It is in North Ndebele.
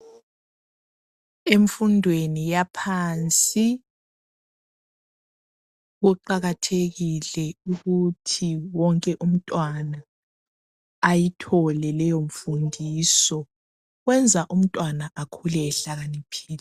Emfundweni yaphansi kuqakathekile ukuthi wonke umntwana ayithole leyo mfundiso. Kwenza umntwana akhule ehlakaniphile.